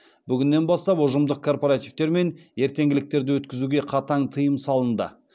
бүгіннен бастап ұжымдық корпоративтер мен ертеңгіліктерді өткізуге қатаң тыйым салынды